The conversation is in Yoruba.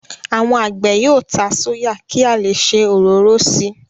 Àwọn àgbẹ̀ yóò ta sóyà ki a leè se òróró síi.